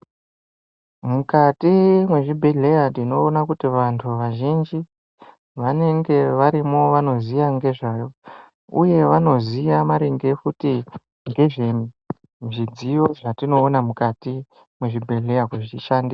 Mukati mwezvibhehlera tinoona kuti vantu vazhinji vanenge varimo vanoziya ngezvayo uye vanoziya maringe kuti ngezvezvidziyo zvatinoona mukati mwezvibhehleya kuzvishande.